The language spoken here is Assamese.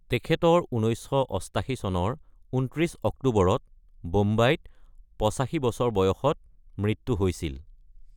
তেখেতৰ ১৯৮৮ চনৰ ২৯ অক্টোবৰত বোম্বাইত ৮৫ বছৰ বয়সত মৃত্যু হৈছিল।